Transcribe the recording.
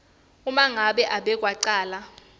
uma ngabe umbekwacala